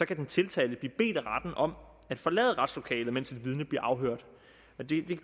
kan den tiltalte blive bedt af retten om at forlade retslokalet mens et vidne bliver afhørt